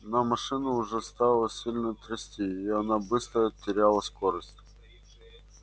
но машину уже стало сильно трясти и она быстро теряла скорость